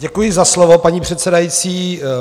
Děkuji za slovo, paní předsedající.